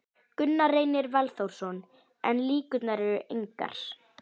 Gunnar Reynir Valþórsson: En líkurnar eru engar?